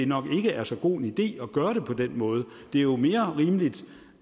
nok ikke er så god en idé at gøre det på den måde det er jo mere rimeligt